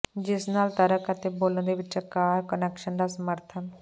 ਜਿਸ ਨਾਲ ਤਰਕ ਅਤੇ ਬੋਲਣ ਦੇ ਵਿਚਕਾਰ ਕੁਨੈਕਸ਼ਨ ਦਾ ਸਮਰਥਨ